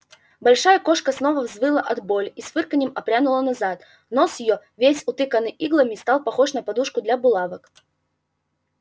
большая кошка снова взвыла от боли и с фырканьем отпрянула назад нос её весь утыканный иглами стал похож на подушку для булавок